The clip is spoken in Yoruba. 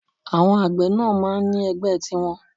Àwọn àgbẹ̀ náà máa ń ní ẹgbẹ́ tiwọn